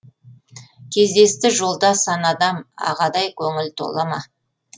кездесті жолда сан адам ағадай көңіл тола ма